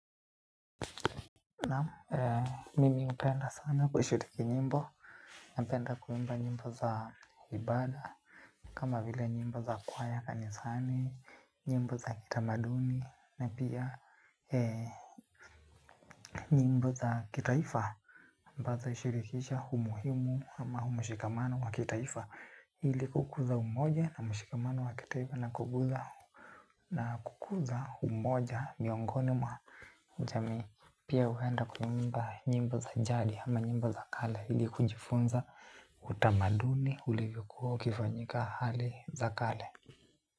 Naam mimi hupenda sana kushiriki nyimbo, napenda kuimba nyimbo za ibada, kama vile nyimbo za kwaya kanisani, nyimbo za kitamaduni, na pia nyimbo za kitaifa. Ambazo hushirikisha umuhimu ama mshikamano wa kitaifa, ili kukuza umoja na mshikamano wa kitaifa na kukuza umoja miongoni mwa. Jamii pia hupenda kuimba nyimbo za jadi ama nyimbo za kale ili kujifunza utamaduni ulivyokuwa ukifanyika hali za kale.